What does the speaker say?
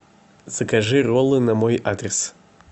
закажи роллы на мой адрес